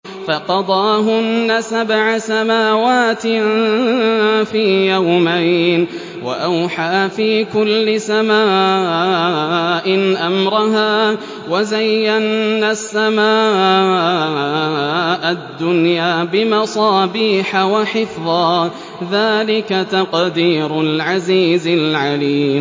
فَقَضَاهُنَّ سَبْعَ سَمَاوَاتٍ فِي يَوْمَيْنِ وَأَوْحَىٰ فِي كُلِّ سَمَاءٍ أَمْرَهَا ۚ وَزَيَّنَّا السَّمَاءَ الدُّنْيَا بِمَصَابِيحَ وَحِفْظًا ۚ ذَٰلِكَ تَقْدِيرُ الْعَزِيزِ الْعَلِيمِ